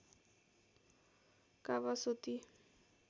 Kawasoti